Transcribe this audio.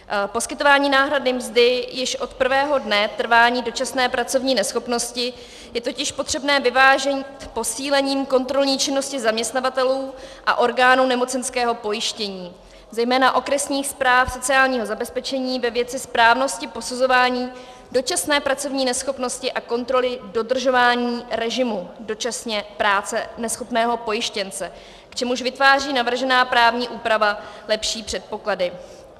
Poskytování náhrady mzdy již od prvého dne trvání dočasné pracovní neschopnosti je totiž potřebné vyvážit posílením kontrolní činnosti zaměstnavatelů a orgánů nemocenského pojištění, zejména okresních správ sociálního zabezpečení, ve věci správnosti posuzování dočasné pracovní neschopnosti a kontroly dodržování režimu dočasně práce neschopného pojištěnce, k čemuž vytváří navržená právní úprava lepší předpoklady.